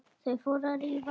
Þau fóru að rífast!